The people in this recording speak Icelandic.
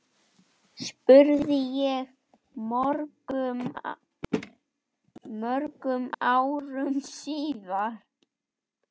spurði ég mörgum árum síðar.